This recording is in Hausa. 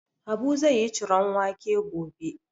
Habu zai yi ciron wake gobe.